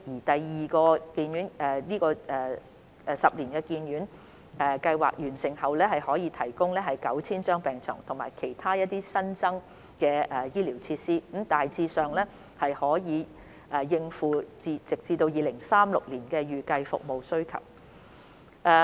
第二個十年醫院發展計劃完成後，可額外提供逾 9,000 張病床及其他新增醫療設施，大致上足以應付直至2036年的預計服務需求。